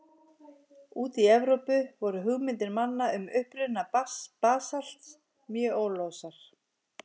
Úti í Evrópu voru hugmyndir manna um uppruna basalts mjög óljósar.